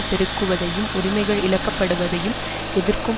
பெருகுவதையும் உரிமைகள் இழக்கப்படுவதையும் எதிர்க்கும்